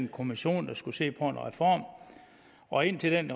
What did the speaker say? kommission der skulle se på en reform og indtil den